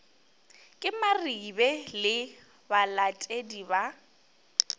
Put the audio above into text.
ke maribe le balatedi ba